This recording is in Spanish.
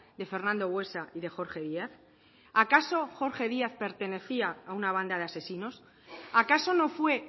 de fernando buesa y de jorge díaz acaso jorge díaz pertenecía a una banda de asesinos acaso no fue